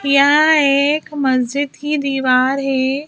यहां एक मस्जिद की दीवार है।